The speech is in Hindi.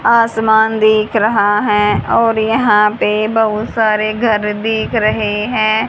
आसमान दिख रहा है और यहां पे बहुत सारे घर दिख रहे है।